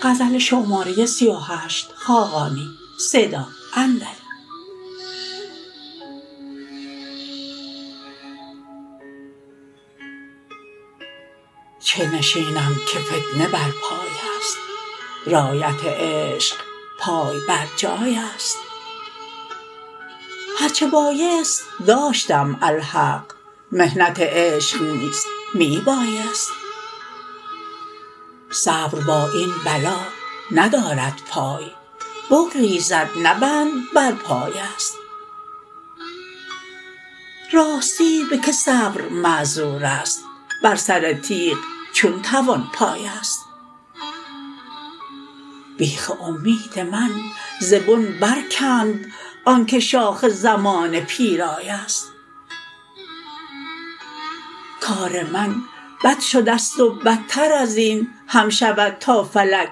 چه نشینم که فتنه برپای است رایت عشق پای برجای است هرچه بایست داشتم الحق محنت عشق نیز می بایست صبر با این بلا ندارد پای بگریزد نه بند بر پای است راستی به که صبر معذور است بر سر تیغ چون توان پایست بیخ امید من ز بن برکند آنکه شاخ زمانه پیرای است کار من بد شده است و بدتر ازین هم شود تا فلک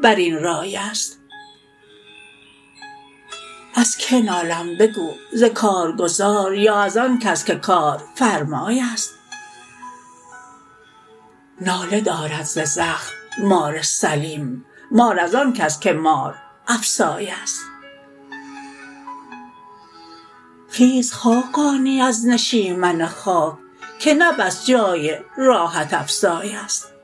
بر این رای است از که نالم بگو ز کارگزار یا از آن کس که کارفرمای است ناله دارد ز زخم مار سلیم مار از آن کس که مارافسای است خیز خاقانی از نشیمن خاک که نه بس جای راحت افزای است